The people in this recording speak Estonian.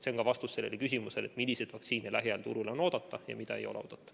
See on vastus sellele küsimusele, milliseid vaktsiine lähiajal turule on oodata ja mida ei ole oodata.